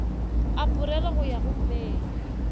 aporele go ya go mei